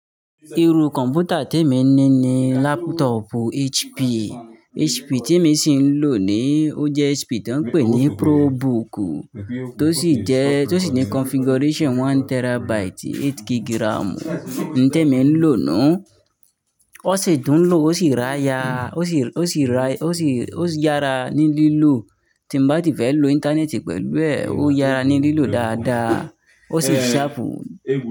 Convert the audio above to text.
Iru kọ̀m̀pútà tí emi ní ni laptop HP. HP tí emi ṣì ń lò ní, ó jẹ́ HP tó ń pè ní probook, tó sì jẹ́, tó sì ní configuration one terabyte, eight gig RAM. Ńte mi ń ló nú, ó sì tùn ún lò, ó sì ráya, ó sì, ó sì rá, ó sì, ó sì yára ní lílò. Tí n bá ti fé lo íńtánẹ́ẹ̀tì pẹ̀lú ẹ̀, ó yára ní lílò dáadáa, ó sì sharp.